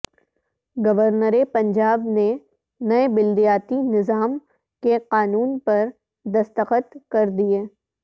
governor Punjab نے نئے بلدیاتی نظام کے قانون پر دستخط کر دیئے